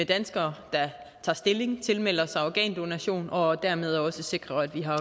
danskere der tager stilling og tilmelder sig organdonation og dermed også sikre at vi har